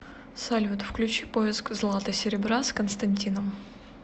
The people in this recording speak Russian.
салют включи поиск злата серебра с константином